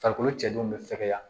Farikolo cɛdenw be fɛgɛya